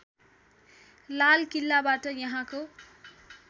लाल किल्लाबाट यहाँको